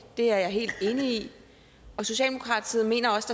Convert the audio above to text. det er jeg helt enig i og socialdemokratiet mener også